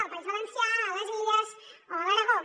al país valencià a les illes o a l’aragó